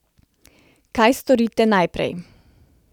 Kaj storite najprej?